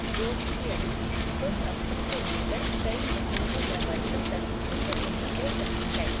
रोग की अवधि कुछ हफ्तों से लेकर कई महीनों या वर्षों तक भिन्न भिन्न हो सकती है।